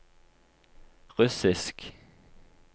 russisk